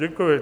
Děkuji.